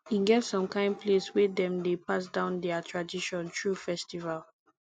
e get som kain place wey dem dey pass down dia tradition thru festival